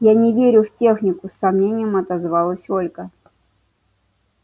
я не верю в технику с сомнением отозвалась ольга